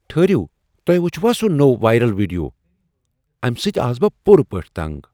ٹھہرِیو ، تۄہہِ وٗچھوا سُہ نوٚو وایرل ویڈیو؟ امہ سۭتۍآس بہ پورٕ پٲٹھی تنگ۔